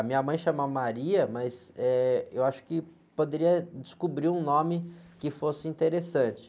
A minha mãe chama, mas, eh, eu acho que poderia descobrir um nome que fosse interessante.